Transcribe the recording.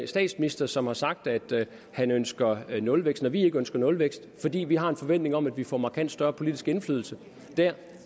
statsminister som har sagt at han ønsker nulvækst når vi ikke ønsker nulvækst er fordi vi har en forventning om at vi får markant større politisk indflydelse